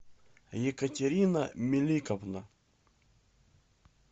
екатерина меликовна